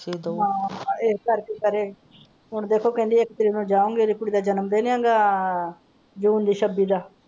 ਠੀਕ ਹੈ ਜੀ ਇਸ ਕਰਕੇ ਕਰੇ ਹੁਣ ਦੇਖੋ ਇੱਕ ਤਾਰੀਕ ਨੂੰ ਜਾਓ ਗਏ ਇਹਦੀ ਕੁੜੀ ਦਾ ਜਨਮਦਿਨ ਹੈਗਾ ਜੂਨ ਦੀ ਛਬੀ ਦਾ।